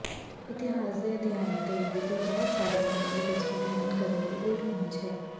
ਇਤਿਹਾਸ ਦੇ ਅਧਿਐਨ ਦੇ ਵਿਧੀ ਬਹੁਤ ਸਾਰੇ ਮਾਮਲੇ ਵਿੱਚ ਅਧਿਐਨ ਕਰਨ ਲਈ ਉਲਟ ਪਹੁੰਚ ਹੈ